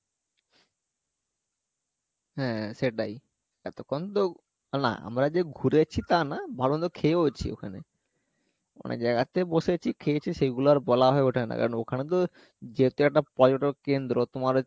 হ্যাঁ সেটাই এতক্ষণ তো না আমরা যে ঘুরেছি তা না ভালো মন্দ খেয়েওছি ওখানে অনেক জায়গা তে বসেছি খেয়েছি সেগুলো আর বলা হয়ে ওঠে না কারণ ওখানে তো যেহেতু একটা পর্যটক কেন্দ্র তোমার